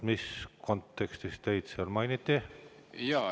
Mis kontekstis teid mainiti?